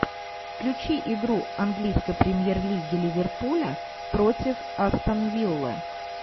включи игру английской премьер лиги ливерпуля против астон вилла